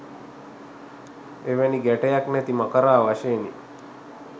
එවැනි ගැටයක් නැති මකරා වශයෙනි.